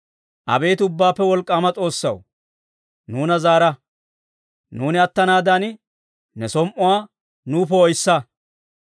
Abeet Ubbaappe Wolk'k'aama S'oossaw, nuuna zaara; nuuni attanaadan, ne som"uwaa nuw poo'issa.